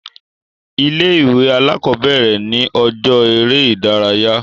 Ilé ìwé alákọ̀bẹ̀rẹ̀ ni ọjọ́ eré ìdárayá.